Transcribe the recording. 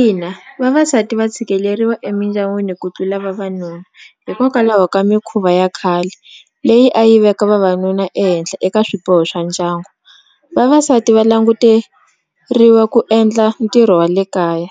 Ina vavasati va tshikeleriwa emindyangwini ku tlula vavanuna hikokwalaho ka mikhuva ya khale leyi a yi veka vavanuna ehenhle eka swiboho swa ndyangu vavasati va languteriwa ku endla ntirho wa le kaya